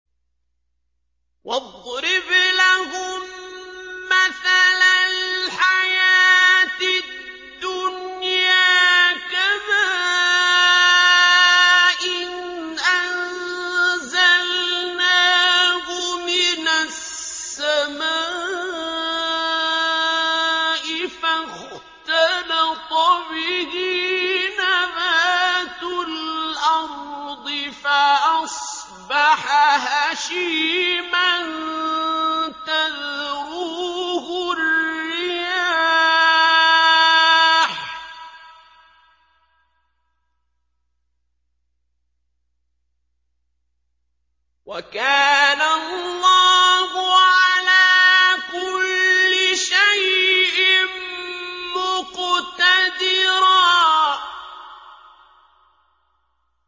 وَاضْرِبْ لَهُم مَّثَلَ الْحَيَاةِ الدُّنْيَا كَمَاءٍ أَنزَلْنَاهُ مِنَ السَّمَاءِ فَاخْتَلَطَ بِهِ نَبَاتُ الْأَرْضِ فَأَصْبَحَ هَشِيمًا تَذْرُوهُ الرِّيَاحُ ۗ وَكَانَ اللَّهُ عَلَىٰ كُلِّ شَيْءٍ مُّقْتَدِرًا